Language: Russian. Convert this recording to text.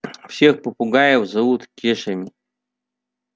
всех попугаев зовут кешами